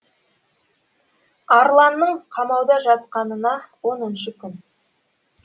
арланның қамауда жатқанына оныншы күн